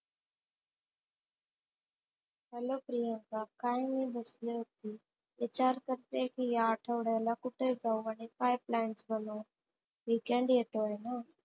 Hello Priyanka, काहीनाही बसली होती विचार करते कि ह्या आठवड्याला कुठे जाऊ आणि काय plan करू? weekend येतोय ना?